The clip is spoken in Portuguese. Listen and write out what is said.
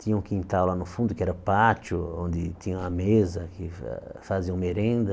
Tinha um quintal lá no fundo, que era pátio, onde tinha uma mesa que fa fazia uma merenda.